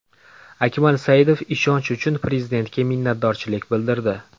Akmal Saidov ishonch uchun Prezidentga minnatdorchilik bildirdi.